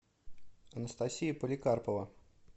анастасия поликарпова